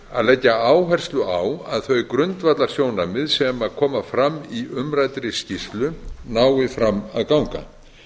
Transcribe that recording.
að leggja áherslu á að þau grundvallarsjónarmið sem koma fram í umræddri skýrslu nái fram að ganga